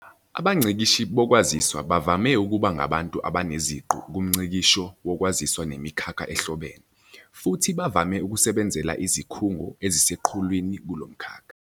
Abangcikishi bokwaziswa bavame ukuba ngabantu abaneziqu kumngcikisho wokwaziswa nemikhakha ehlobene, futhi bavame ukusebenzela izikhungo eziseqhulwini kulomkhakha.